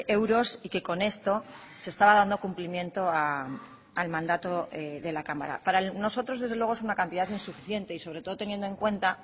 euros y que con esto se estaba dando cumplimiento al mandato de la cámara para nosotros desde luego es una cantidad insuficiente y sobre todo teniendo en cuenta